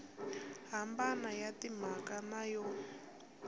hambana ya timhaka na yo